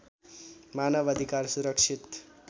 मानव अधिकार सुरक्षित